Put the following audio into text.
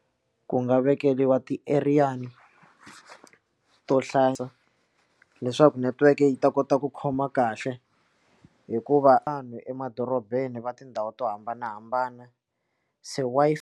Ku nga vekeriwa ti eriyana to hlayisa leswaku network yi ta kota ku khoma kahle hikuva a n'wi emadorobeni va tindhawu to hambanahambana se Wi-Fi.